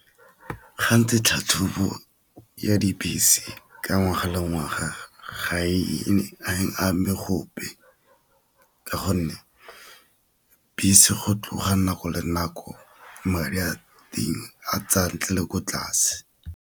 tlhatlhobo ya dibese ka ngwaga le ngwaga ga e ame gope ka gonne bese go tloga nako le nako madi a teng a tsaya ntle le ko tlase.